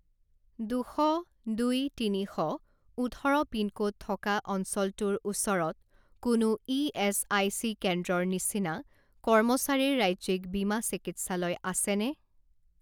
দুশ দুই তিনি শ ওঠৰ পিনক'ড থকা অঞ্চলটোৰ ওচৰত কোনো ইএচআইচি কেন্দ্ৰৰ নিচিনা কৰ্মচাৰীৰ ৰাজ্যিক বীমা চিকিৎসালয় আছেনে?